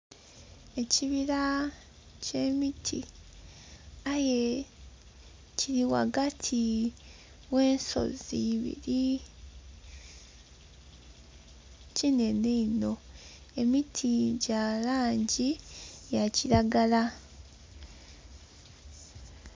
Ebivuga bye beta adungu, adungu dhino dhiri ghano iisatu, eyindhi eri ghansi eibiri badhi ghanika ku kimante. Ku ki mante kuno kuliku ebifananye ebisige ebya bakazi abasatu. Omukazi ali ghagati ali bukunha rra nga ali mi ka pale kerere.